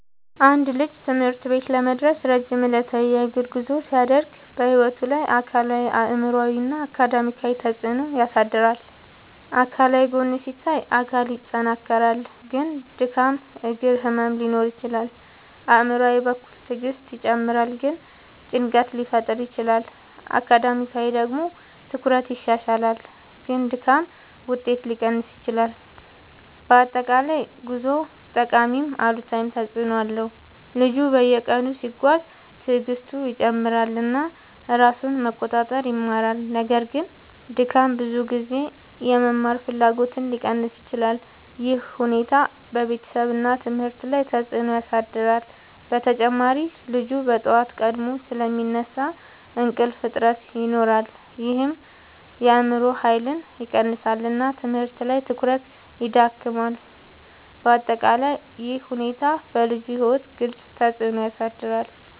አንድ ልጅ ትምህርት ቤት ለመድረስ ረጅም ዕለታዊ የእግር ጉዞ ሲያደርግ በሕይወቱ ላይ አካላዊ አእምሯዊ እና አካዳሚያዊ ተፅዕኖ ያሳድራል። አካላዊ ጎን ሲታይ አካል ይጠናከራል ግን ድካም እግር ህመም ሊኖር ይችላል። አእምሯዊ በኩል ትዕግስት ይጨምራል ግን ጭንቀት ሊፈጠር ይችላል። አካዳሚያዊ ደግሞ ትኩረት ይሻሻላል ግን ድካም ውጤት ሊቀንስ ይችላል። በአጠቃላይ ጉዞው ጠቃሚም አሉታዊም ተፅዕኖ አለው። ልጁ በየቀኑ ሲጓዝ ትዕግስቱ ይጨምራል እና ራሱን መቆጣጠር ይማራል። ነገር ግን ድካም ብዙ ጊዜ የመማር ፍላጎትን ሊቀንስ ይችላል። ይህ ሁኔታ በቤተሰብ እና ትምህርት ላይ ተጽዕኖ ያሳድራል። በተጨማሪ ልጁ በጠዋት ቀድሞ ስለሚነሳ እንቅልፍ እጥረት ይኖራል ይህም የአእምሮ ኃይልን ይቀንሳል እና ትምህርት ላይ ትኩረት ይዳክማል። በአጠቃላይ ይህ ሁኔታ በልጁ ሕይወት ግልጽ ተፅዕኖ ያሳድራል።